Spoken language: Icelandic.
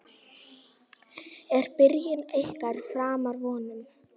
Er byrjun ykkar framar vonum?